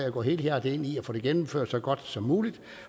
og går helhjertet ind i at få det gennemført så godt som muligt